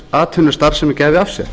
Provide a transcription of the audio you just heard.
atvinnustarfsemi gæfi af sér